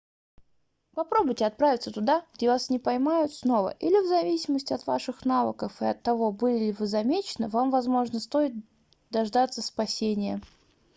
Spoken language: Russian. попробуйте отправиться туда где вас не поймают снова или в зависимости от ваших навыков и от того были ли вы замечены вам возможно стоит дождаться спасения